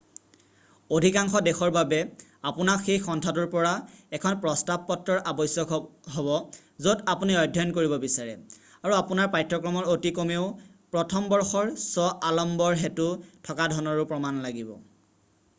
অধিকাংশ দেশৰ বাবে আপোনাক সেই সন্থাটোৰ পৰা এখন প্ৰস্তাৱপত্ৰৰ আৱশ্যক হব য'ত আপুনি অধ্যয়ন কৰিব বিচাৰে আৰু আপোনাৰ পাঠ্যক্ৰমৰ অতি কমেও প্ৰথম বৰ্ষৰ শ্ব আলম্বৰ হেতু থকা ধনৰো প্ৰমাণ লাগিব